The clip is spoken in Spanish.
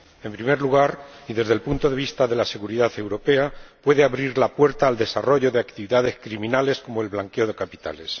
En primer lugar, y desde el punto de vista de la seguridad europea, puede abrir la puerta al desarrollo de actividades criminales como el blanqueo de capitales.